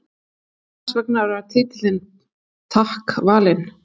En hvers vegna var titillinn Takk valinn?